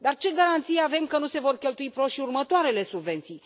Dar ce garanții avem că nu se vor cheltui prost și următoarele subvenții?